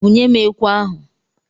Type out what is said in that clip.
Bunyem ekwe ahụ!